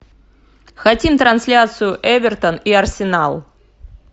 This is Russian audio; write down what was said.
хотим трансляцию эвертон и арсенал